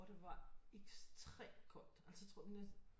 Hvor der var ekstremt koldt altså tror næsten